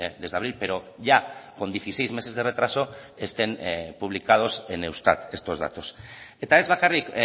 desde abril pero ya con dieciséis meses de retraso estén publicados en eustat estos datos eta ez bakarrik